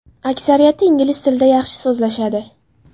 Aksariyati ingliz tilida yaxshi so‘zlashadi.